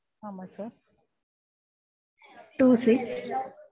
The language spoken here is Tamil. ஆமா sir two six